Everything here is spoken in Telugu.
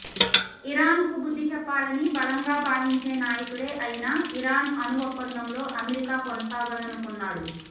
ఇరాన్కు బుద్ధి చెప్పాలని బలంగా భావించే నాయకుడే అయినా ఇరాన్ అణు ఒప్పందంలో అమెరికా కొనసాగాలనుకున్నాడు